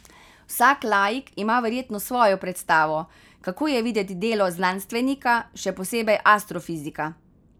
Vsak laik ima verjetno svojo predstavo, kako je videti delo znanstvenika, še posebej astrofizika.